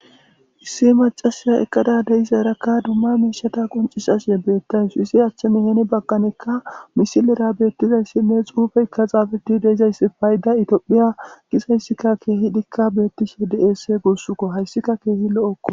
Issi macasiya ekkada deizarakka dumma miishata qoncisashe beettays izi achchanheeni bagkanekka misilera beettizayssinne xuufeykka xaafeti deizayssi payda itoophiya gisayssika keehidikka beettishe des gurssukko hayssika keehi lo'okko